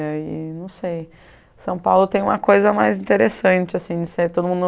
E aí, não sei... São Paulo tem uma coisa mais interessante, assim, de ser todo mundo...